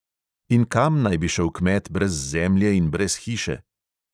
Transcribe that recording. In kam naj bi šel kmet brez zemlje in brez hiše?